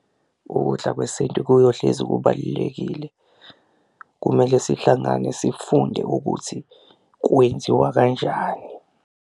Ukudla kwesintu kuyohlezi kubalulekile. Kumele sihlangane sifunde ukuthi kwenziwa kanjani.